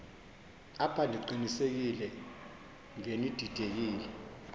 apha ndiqinisekile ngenididekile